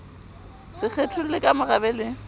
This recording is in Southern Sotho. se kgetholle ka morabe le